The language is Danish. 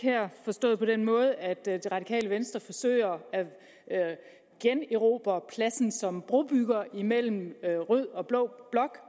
forstået på den måde at det radikale venstre forsøger at generobre pladsen som brobygger imellem rød og blå blok